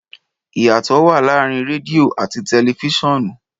Ìyàtọ̀ wa láàrin rẹdìo àti tẹlifiṣionu.